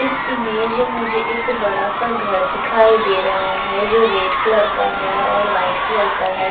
इस में मुझे एक बडा सा घर दिखाई दे रहा है जो रेड कलर का है और वाईट कलर का है।